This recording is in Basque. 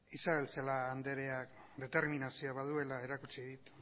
isabel celaá andreak determinazio baduela erakutsi dit